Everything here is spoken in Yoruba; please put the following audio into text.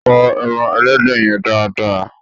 Fọ ẹran Ẹlẹ́dẹ̀ yẹn dáa dáa!